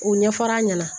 U ɲɛ fɔr'a ɲɛna